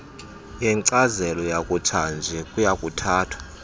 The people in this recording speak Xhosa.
yenkcazelo yakutshanje kuyakuthathwa